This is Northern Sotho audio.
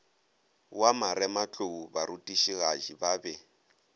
wa marematlou barutišigadi ba be